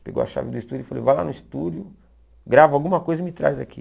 Pegou a chave do estúdio e falou, vai lá no estúdio, grava alguma coisa e me traz aqui.